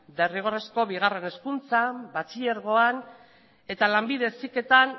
derrigorrezko bigarren hezkuntzan batxilergoan eta lanbide heziketan